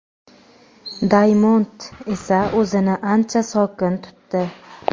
"Daymond" esa o‘zini ancha sokin tutdi.